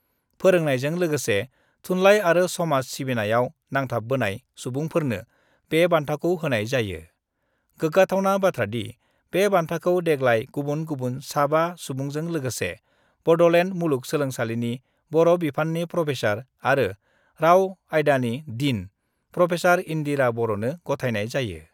फोरोंनायजों लोगोसे थुनलाइ आरो समाज सिबिनायाव नांथाबबोनाय सुबुंफोरनो बे बान्थाखौ होनाय जायो गोग्गाथावना बाथ्रादि बे बान्थाखौ देग्लाय गुबुन गुबुन साबा सुबुंजों लोगोसे बड'लेण्ड मुलुग सोलोंसालिनि बर' बिफाननि प्रफेसार आरो राव आयदानि डीन प्रफेसार इन्दिरा बर'नो गथायनाय जायो।